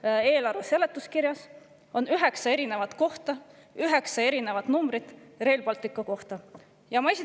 Praeguse eelarve seletuskirjas on selle kohta üheksa erinevat kohta, üheksa erinevat Rail Balticu kohta?